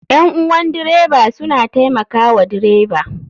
Ƴan uwan dreba suna taimaka wa dreba